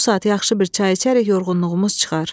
Bu saat yaxşı bir çay içərək yorğunluğumuz çıxar.